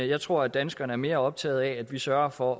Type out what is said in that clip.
jeg tror at danskerne er mere optaget af at vi sørger for